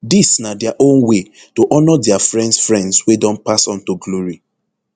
dis na dia own way to honour dia friends friends wey don pass on to glory